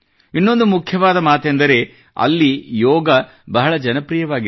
ಇನ್ನೊಂದು ಮುಖ್ಯವಾದ ಮಾತೆಂದರೆ ಅಲ್ಲಿ ಯೋಗವು ಬಹಳ ಜನಪ್ರಿಯವಾಗಿದೆ